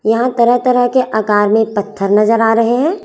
यहां तरह तरह के आकार में पत्थर नजर आ रहे हैं।